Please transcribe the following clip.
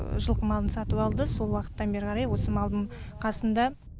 жылқы малын сатып алды сол уақыттан бері қарай осы малдың қасында